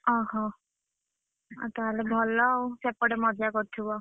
ଅହ, ଅ ତାହେଲେ ଭଲ ଆଉ! ସେପଟେ ମଜା କରୁଥିବ?